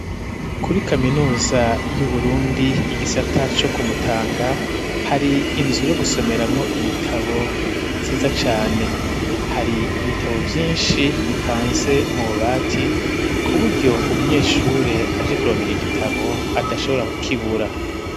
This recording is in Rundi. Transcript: Kuri kaminuza y'Uburundi, igisata co ku Mutanga, hari inzu, yo gusomeramwo ibitabo, nziza cane; hari ibitabo vyinshi, bipanze mu bubati, ku buryo umunyeshure, aje kurondera igitabo, adashobora kukibura.